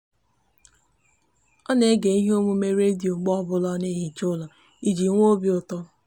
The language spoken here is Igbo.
o n'ege ihe omume radio mgbe obula o n'ehicha ulo iji nwe obiuto